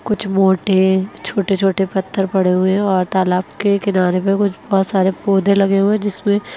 कुछ मोटे और छोटे छोटे पत्थर पड़े हुए हैं और तालाब के किनारे में कुछ बोहोत सारे पौधे लगे हुए हैं जिसमें --